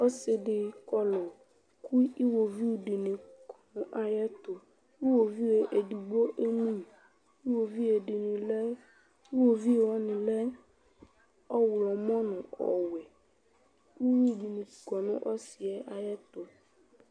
Ɔsidi kɔ nu iɣovidini ayɛtu iɣovi edigbo enyi iɣovidini lɛ ɔɣlomɔ nu ɔwɛ uyui di kɔ nu usiɛ ayɛtu